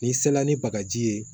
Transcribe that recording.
N'i sela ni bagaji ye